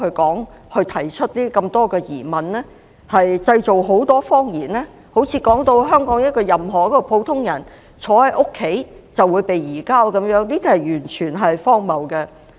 按照他們的說法，好像香港任何一個普通人坐在家裏就會被移交一樣，這完全是荒謬的。